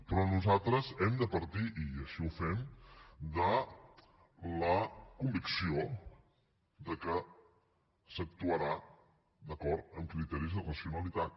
però nosaltres hem de partir i així ho fem de la convicció que s’actuarà d’acord amb criteris de racionalitat